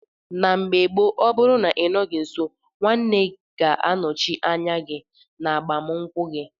Na mgbe gbo ọbụrụ na inọghi nso nwanne ga anọchi anya gi na agbam nkwu gi.